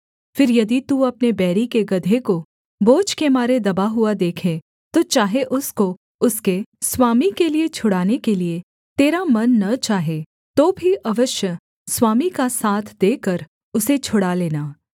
फिर यदि तू अपने बैरी के गदहे को बोझ के मारे दबा हुआ देखे तो चाहे उसको उसके स्वामी के लिये छुड़ाने के लिये तेरा मन न चाहे तो भी अवश्य स्वामी का साथ देकर उसे छुड़ा लेना